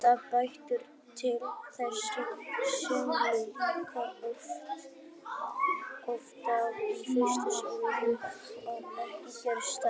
Þetta bendir til þess að álíka oft dragi fyrir sólu síðdegis og ekki geri það.